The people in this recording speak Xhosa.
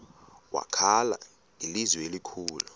wakhala ngelizwi elikhulu